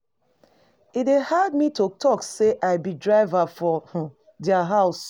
E dey hard me to talk sey I be driver for um their house.